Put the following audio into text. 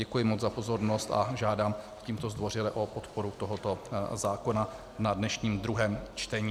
Děkuji moc za pozornost a žádám tímto zdvořile o podporu tohoto zákona na dnešním druhém čtení.